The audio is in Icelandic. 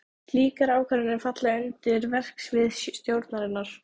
Slíkar ákvarðanir falla undir verksvið stjórnarinnar.